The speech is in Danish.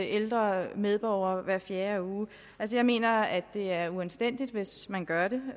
ældre medborgere hver fjerde uge jeg mener at det er uanstændigt hvis man gør det